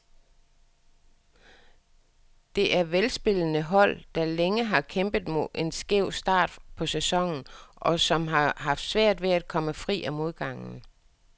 Det er velspillende hold, der længe har kæmpet med en skæv start på sæsonen, og som har haft svært ved at komme fri af modgangen.